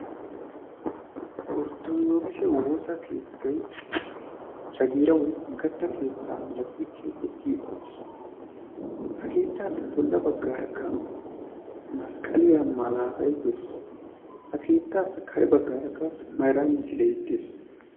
orttoogise woosa keettai jagiira woi oggatta keettaa milati keexxeti uttiis. ha keettaassi bolla baggaarakka masqqaliyaa malaatai dees ha keettaappe kare baggaarakka maira misilei dees.